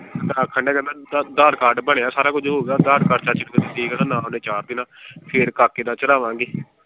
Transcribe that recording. ਆਖਣ ਡੇਆ ਕਹਿੰਦਾ ਅਧਾਰ ਕਾਰਡ ਬਣਿਆ ਸਾਰਾ ਕੁਝ ਹੋਗਿਆ ਅਧਾਰ ਕਾਰਡ ਤੇ ਨਾਮ ਓਹਨੇ ਚਾੜ ਦੇਣਾ, ਫਿਰ ਕਾਕੇ ਦਾ ਚੜਾਵਾਂਗੇ।